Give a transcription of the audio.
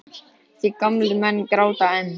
Því gamlir menn gráta enn.